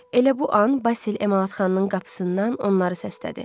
Elə bu an Basil Emalatxananın qapısından onları səslədi.